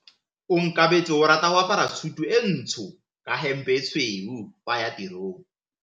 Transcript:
Onkabetse o rata go apara sutu e ntsho ka hempe e tshweu fa a ya tirong.